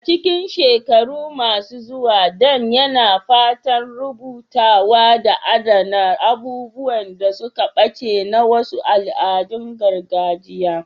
A cikin shekaru masu zuwa, Dan yana fatan rubutawa da adana abubuwan da suka ɓace na wasu al'adun gargajiya.